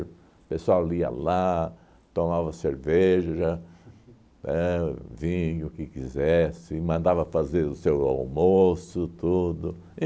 O pessoal ia lá, tomava cerveja, éh vinho, o que quisesse, mandava fazer o seu almoço, tudo.